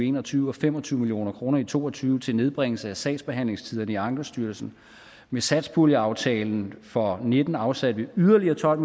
en og tyve og fem og tyve million kroner i to og tyve til nedbringelse af sagsbehandlingstiderne i ankestyrelsen med satspuljeaftalen for og nitten afsatte vi yderligere tolv